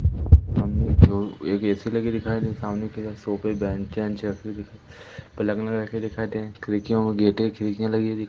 सामने की ओर एक ए_सी लगी दिखाई दे रही हैं सामने एक और सोफे बेंचेस पलंग लगे दिखाई दे रहे खिड़कियां और गेटे खिड़कियां लगी दिखाई--